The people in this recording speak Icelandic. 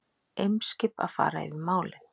Eimskip að fara yfir málin